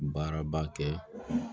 Baaraba kɛ